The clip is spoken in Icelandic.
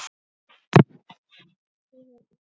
Þau voru EKKI.